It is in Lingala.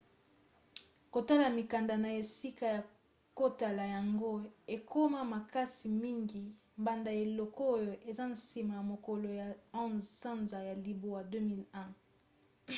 kotala mikanda na esika ya kotala yango ekoma makasi mingi banda eleko oyo eza nsima ya mokolo ya 11 sanza ya libwa 2001